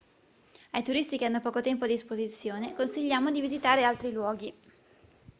ai turisti che hanno poco tempo a disposizione consigliamo di visitare altri luoghi